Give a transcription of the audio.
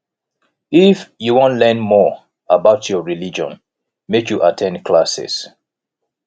if you wan learn more about your religion make you at ten d classes